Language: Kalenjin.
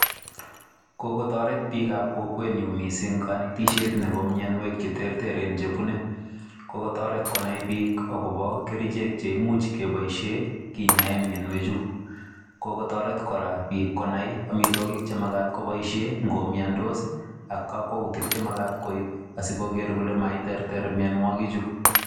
Kokotoret biikab kokwenyu mising kanetishet nebo mianwek che terteren chebune. Kokotoret konai biik akobo kerichek cheimuch koboishe kinyae mianwechu, kokotoret kora biik konai amitwogik che makat kobaishe ngo komiandos ak kakwoutik che mekat koib asikoger kole maiterter mianwokichu.